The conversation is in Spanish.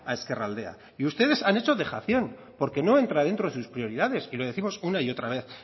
ezkerraldea y ustedes han hecho dejación porque no entra dentro de sus prioridades y lo décimos una y otra vez